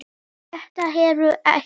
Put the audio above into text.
Þetta hefur ekki?